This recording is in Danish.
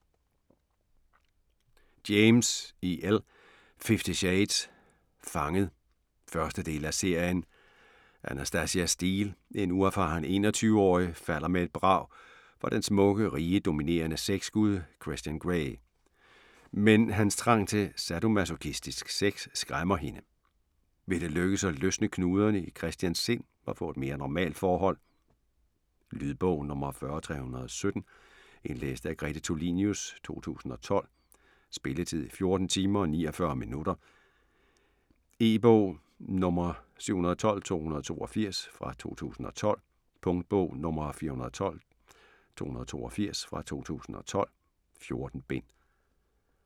James, E. L.: Fifty shades: Fanget 1. del af serie. Anastasia Steele, en uerfaren 21-årig, falder med et brag for den smukke, rige, dominerende sexgud Christian Grey. Men hans trang til sadomasochistisk sex skræmmer hende. Vil det lykkes at løsne knuderne i Christians sind og få et mere normalt forhold? Lydbog 40317 Indlæst af Grete Tulinius, 2012. Spilletid: 14 timer, 49 minutter. E-bog 712282 2012. Punktbog 412282 2012. 14 bind.